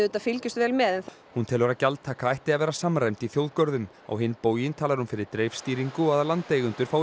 fylgjumst vel með hún telur að gjaldtaka ætti að vera samræmd í þjóðgörðum á hinn bóginn talar hún fyrir dreifstýringu og að landeigendur fái